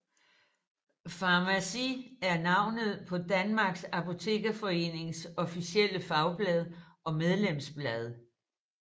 Farmaci er navnet på Danmarks Apotekerforenings officielle fagblad og medlemsblad